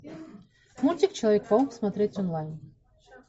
мультик человек паук смотреть онлайн